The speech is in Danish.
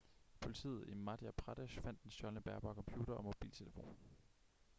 politiet i madhya pradesh fandt den stjålne bærbare computer og mobiltelefon